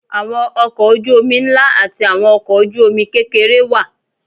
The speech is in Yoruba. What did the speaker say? Àwọn ọkọ̀ ojú omi ńlá àti àwọn ọkọ ojú omi kékeré wà.